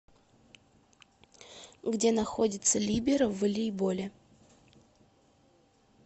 где находится либеро в волейболе